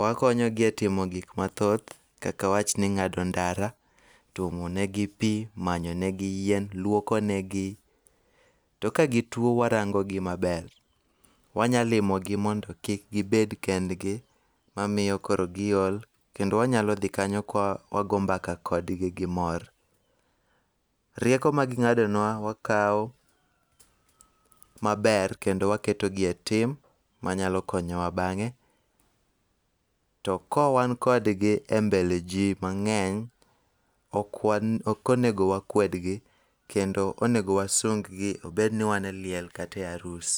Wakonyogi e timo gik mathoth kaka awach ni ng'ado ndara, twomo negi pi, macho ne gi yien, luoko ne gi. To ka gituo warango gi maber. Wanyalimo gi mondo kik gibed kendgi mamiyo koro giol kendo wanyalo dhi kanyo ka wagombaka kodgi gi mor. Rieko maging'ado nwa wakaw maber kendo waketo gi e tim manyalo konyowa bang'e. To ka wan kodgi e mbele ji mang'eny, ok onego wakwedgi kendo onego wasung gi obed ni wan e liel kata e arus.